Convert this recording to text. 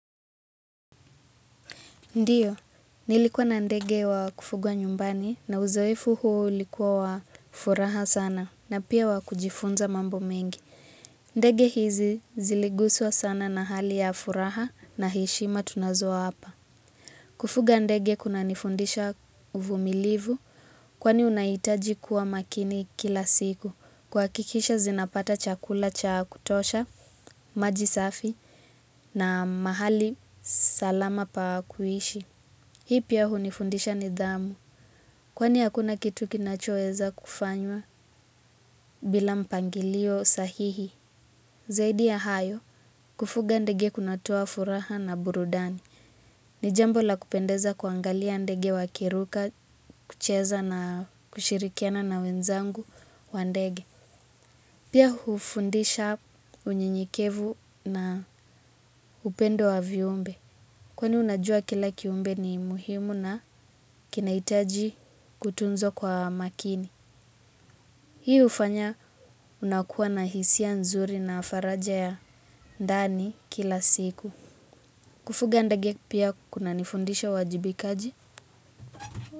Ndiyo, nilikuwa na ndege wa kufugwa nyumbani na uzoefu huu ulikuwa wa furaha sana na pia wa kujifunza mambo mengi. Ndege hizi ziliguswa sana na hali ya furaha na heshima tunazwa hapa. Kufuga ndege kunanifundisha uvumilivu kwani unahitaji kuwa makini kila siku. Kuhakikisha zinapata chakula cha kutosha, maji safi na mahali salama pa kuishi. Hii pia hunifundisha nidhamu, kwani hakuna kitu kinachoweza kufanywa bila mpangilio sahihi. Zaidi ya hayo, kufuga ndege kunatoa furaha na burudani. Ni jambo la kupendeza kuwaangalia ndege wakiruka, kucheza na kushirikiana na wenzangu wa ndege. Pia hufundisha unyenyekevu na upendo wa viumbe. Kwani unajua kila kiumbe ni muhimu na kinahitaji kutunzwa kwa makini. Hii hufanya unakuwa na hisia nzuri na faraja ya ndani kila siku. Kufuga ndege pia kunanifundisha uwajibikaji.